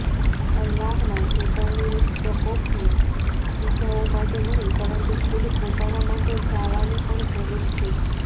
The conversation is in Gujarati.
અલ્લાહના ચેતવણીરૂપ પ્રકોપને બીજાઓ માટે નહીં પરંતુ ખુદ પોતાના માટે જાવાની પણ જરૂર છે